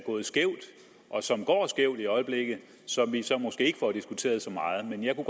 gået skævt og som går skævt i øjeblikket som vi så måske ikke får diskuteret så meget men jeg kunne